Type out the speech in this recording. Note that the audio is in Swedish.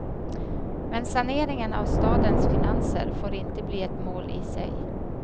Men saneringen av stadens finanser får inte bli ett mål i sig.